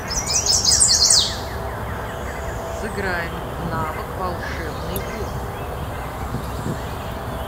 сыграем в навык волшебный бот